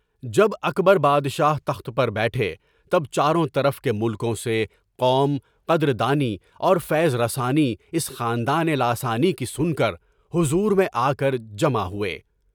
جب اکبر بادشاہ تخت پر بیٹھے، تب چاروں طرف کے ملکوں سے قوم، قدر دانی اور فیض رسانی اس خاندانِ لاثانی کی سن کر حضور میں آکر جمع ہوئے۔